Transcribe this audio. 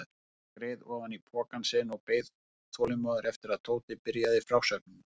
Örn skreið ofan í pokann sinn og beið þolinmóður eftir að Tóti byrjaði frásögnina.